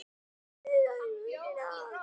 Lifði þær raunir af.